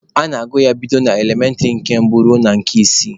A na-agụ ya bido n'elementịrị nke mbụ ruo na nke isii.